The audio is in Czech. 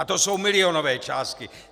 A to jsou milionové částky.